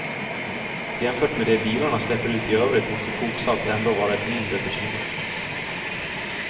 Jämfört med det bilarna släpper ut i övrigt måste koksalt ändå vara ett mindre bekymmer.